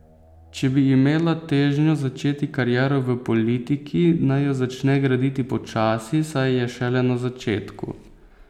Če bi imela težnjo začeti kariero v politiki, naj jo začne graditi počasi, saj je šele na začetku.